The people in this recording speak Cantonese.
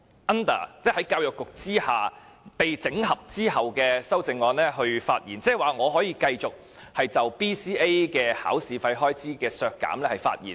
但是，我就教育局被整合後的修正案發言時，應該可以就削減 BCA 的預算開支發言。